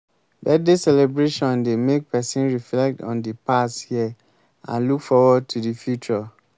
birthday celebration dey make pesin reflect on di past year and look forward to di future.